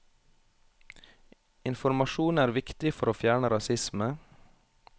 Informasjon er viktig for å fjerne rasisme.